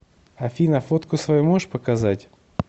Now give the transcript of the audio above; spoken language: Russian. афина фотку свою можешь показать